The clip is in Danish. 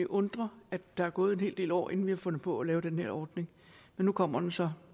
undre at der er gået en hel del år inden vi har fundet på at lave den her ordning men nu kommer den så